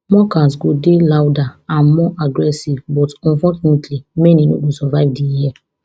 mockers go dey louder and more aggressive but unfortunately many no go survive di year